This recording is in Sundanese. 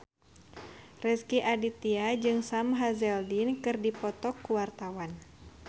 Rezky Aditya jeung Sam Hazeldine keur dipoto ku wartawan